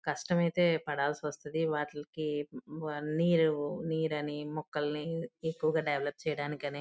కష్టమైతే పడాల్సొస్తది వాటిలకి వ అన్ని నీరని మొక్కల్ని ఎక్కువగా డెవలప్ చేయడానికి అని --